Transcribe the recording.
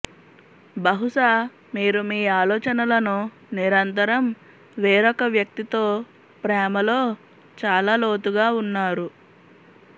బహుశా మీరు మీ ఆలోచనలను నిరంతరం వేరొక వ్యక్తితో ప్రేమలో చాలా లోతుగా ఉన్నారు